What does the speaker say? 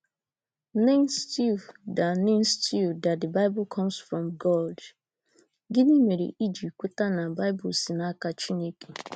nced you that nced you that the Bible comes from God? Gịnị mere iji kweta na Baịbụl si n’aka Chineke?